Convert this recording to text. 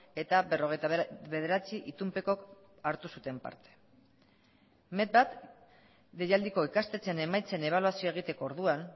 eta berrogeita bederatzi itunpekok hartu zuten parte met bat deialdiko ikastetxeen emaitzen ebaluazioa egiteko orduan